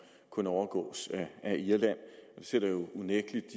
kun overgås af irland det sætter unægtelig